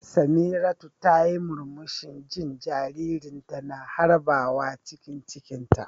Samiratu tayi murmushi jin jaririnta na harbawa cikin cikinta.